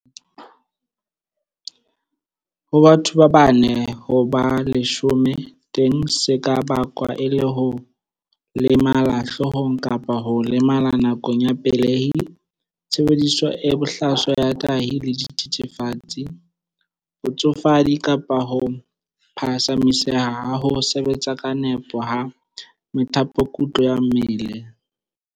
Ho batho ba bane ho ba leshome teng se ka bakwa ke ho lemala hloohong kapa ho lemala nakong ya pelehi, tshebediso e bohlaswa ya tahi le dithethefatsi, botsofadi kapa ho phatsamiseha ha ho sebetsa ka nepo ha methapokutlo ya mmele.